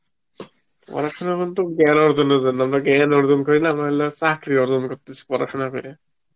পরাসনা বলত জ্ঞান অর্জনের জন্য, আমরা জ্ঞান অর্জন করি না আমরা চাকরি অর্জন করতেসি পরাসনা করে মানুষ এখন